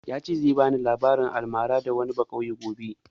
Ya ce zai bani labarin almara na wani bakauye gobe